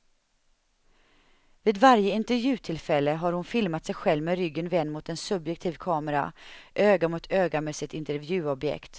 Vid varje intervjutillfälle har hon filmat sig själv med ryggen vänd mot en subjektiv kamera, öga mot öga med sitt intervjuobjekt.